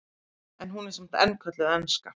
En hún er samt enn kölluð enska.